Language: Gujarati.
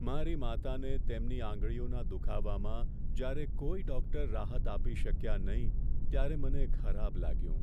મારી માતાને તેમની આંગળીઓના દુખાવામાં જ્યારે કોઈ ડૉક્ટર રાહત આપી શક્યા નહીં, ત્યારે મને ખરાબ લાગ્યું.